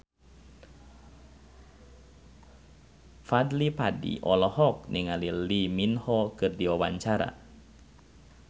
Fadly Padi olohok ningali Lee Min Ho keur diwawancara